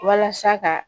Walasa ka